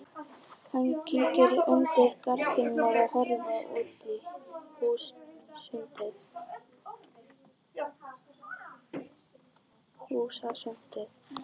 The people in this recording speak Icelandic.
Hann kíkir undir gardínuna og horfir út í húsasundið.